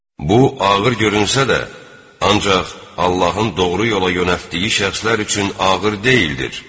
Bu, ağır görünsə də, ancaq Allahın doğru yola yönəltdiyi şəxslər üçün ağır deyildir.